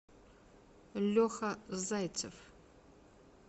леха зайцев